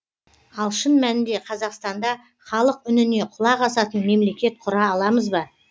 ал шын мәнінде қазақстанда халық үніне құлақ асатын мемлекет құра аламыз ба